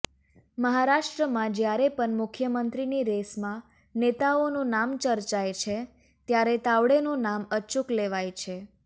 મહારાષ્ટ્રમાં જ્યારે પણ મુખ્યમંત્રીની રેસમાં નેતાઓનું નામ ચર્ચાય છે ત્યારે તાવડેનું નામ અચૂક લેવાય છે